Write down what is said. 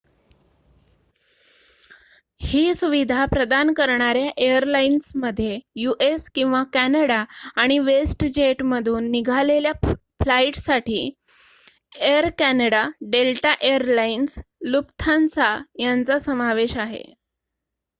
ही सुविधा प्रदान करणार्‍या एअरलाईन्समध्ये यू.एस. किंवा कॅनडा आणि वेस्टजेटमधून निघालेल्या फ्लाईट्ससाठी air Canada Delta air lines Lufthansa यांचा समावेश आहे